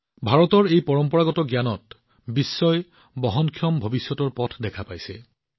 ভাৰতৰ এই পৰম্পৰাগত জ্ঞানত বিশ্বই এক বহনক্ষম ভৱিষ্যতৰ উপায় বিচাৰি আছে